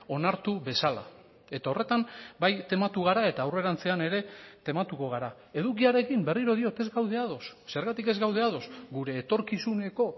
onartu bezala eta horretan bai tematu gara eta aurrerantzean ere tematuko gara edukiarekin berriro diot ez gaude ados zergatik ez gaude ados gure etorkizuneko